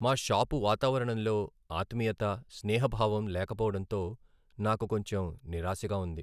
మా షాపు వాతావరణంలో ఆత్మీయత, స్నేహభావం లేకపోవడంతో నాకు కొంచెం నిరాశగా ఉంది.